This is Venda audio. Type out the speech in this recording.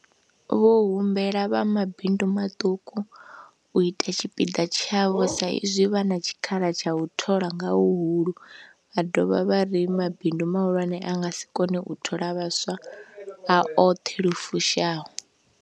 Vho humbela vha mabindu maṱuku u ita tshipiḓa tshavho sa izwi vha na tshikhala tsha u thola nga huhulu, vha dovha vha ri mabindu mahulwane a nga si kone u thola vhaswa a oṱhe lu fushaho.